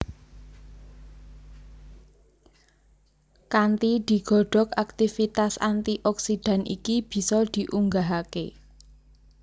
Kanthi digodhog aktivitas antioksidan iki bisa diunggahake